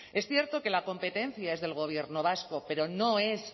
es cierto que la competencia es del gobierno vasco pero no es